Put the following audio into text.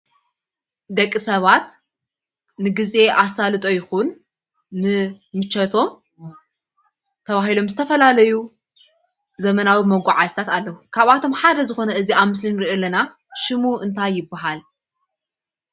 ደቂ ሰባት ንግዜ ኣሰልጦ ይኩን ንምቸቶም ተባሂሎን ዝተፈላለዩ ዘመናዊ መጓዓዝያታት ኣለዉ፡፡ ካብኣቶመ ሓደ ዝኮነ እዚ ኣብ ምስሊ እንሪኦ ዘለና ሽሙ እንታይ ይባሃል?